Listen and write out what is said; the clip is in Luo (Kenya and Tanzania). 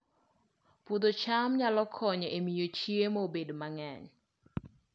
Puodho cham nyalo konyo e miyo chiemo obed mang'eny